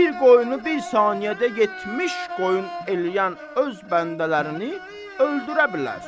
Bir qoyunu bir saniyədə 70 qoyun eləyən öz bəndələrini öldürə bilər.